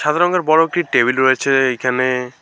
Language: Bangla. সাদা রঙের বড় একটি টেবিল রয়েছে এইখানে।